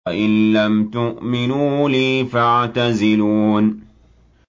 وَإِن لَّمْ تُؤْمِنُوا لِي فَاعْتَزِلُونِ